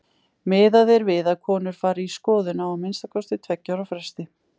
Miðað er við að konur fari í skoðun á að minnsta kosti tveggja ára fresti.